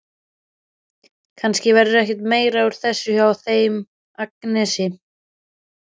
Kannski verður ekkert meira úr þessu hjá þeim Agnesi.